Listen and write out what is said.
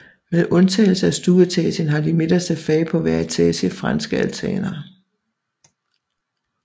Med undtagelse af stueetagen har de midterste fag på hver etage franske altaner